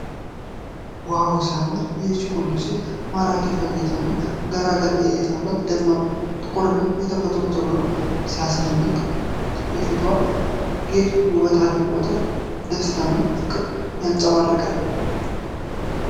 ዋው ሲያምር! ይህች ቆንጆ ሴት ማራኪ ፈገግታና ገራገር እይታ አላት። ደማቅ ጥቁርና የተፈጥሮ ፀጉሯ ሲያስደንቅ! የፊትዋ ጌጥ ውበቷን አድምቆታል። ደስታንና ፍቅርን ያንጸባርቃል።